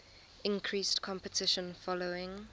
increased competition following